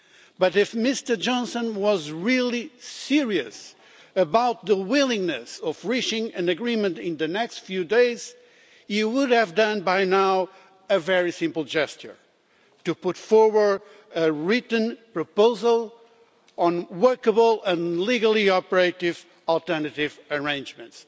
But if Mr Johnson was really serious about the willingness to reach an agreement in the next few days, he would, by now, have made a very simple gesture to put forward a written proposal on workable and legally operative alternative arrangements.